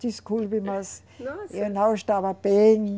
Desculpe-me, mas eu não estava bem.